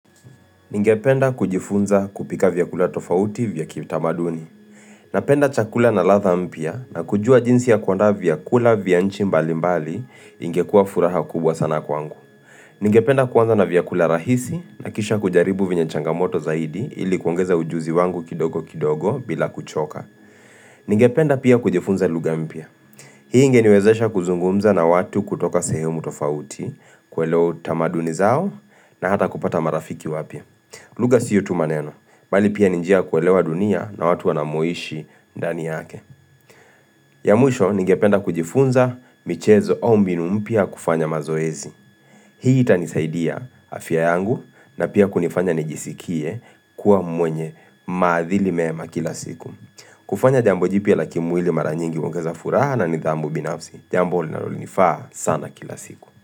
Ningependa kujifunza kupika vyakula tofauti vya kitamaduni. Napenda chakula na ladha mpya na kujua jinsi ya kuandaa vyakula vya nchi mbalimbali ingekuwa furaha kubwa sana kwangu. Ningependa kuanza na vyakula rahisi nakisha kujaribu venye changamoto zaidi ili kuongeza ujuzi wangu kidogokidogo bila kuchoka. Ningependa pia kujifunza lugha mpya. Hii ingeniwezesha kuzungumza na watu kutoka sehemu tofauti kuelewa utamaduni zao na hata kupata marafiki wapya. Lugha sio tu maneno, bali pia ni njia ya kuelewa dunia na watu wanamoishi ndani yake. Ya mwisho, ningependa kujifunza michezo au mbinu mpya ya kufanya mazoezi. Hii itanisaidia afya yangu na pia kunifanya nijisikie kuwa mwenye maadhili mema kila siku. Kufanya jambo jipya la kimwili mara nyingi huongeza furaha na nidhamu binafsi. Jambo linalo nifaa sana kila siku.